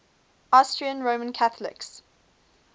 austrian roman catholics